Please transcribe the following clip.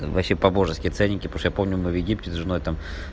вообще по-божески ценники потому что я помню мы в египте с женой там